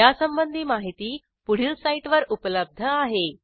यासंबंधी माहिती पुढील साईटवर उपलब्ध आहे